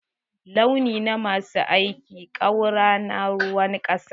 Launi na ma su aikin ƙaura na ruwan ƙasa ne.